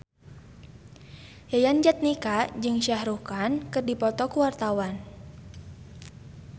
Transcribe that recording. Yayan Jatnika jeung Shah Rukh Khan keur dipoto ku wartawan